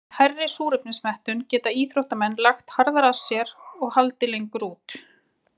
Með hærri súrefnismettun geta íþróttamenn lagt harðar að sér og haldið lengur út.